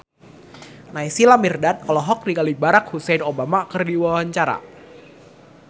Naysila Mirdad olohok ningali Barack Hussein Obama keur diwawancara